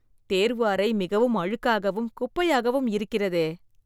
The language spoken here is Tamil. தேர்வு அறை மிகவும் அழுக்காகவும், குப்பையாகவும் இருக்கிறதே